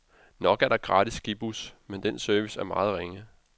Nok er der gratis skibus, men den service er meget ringe.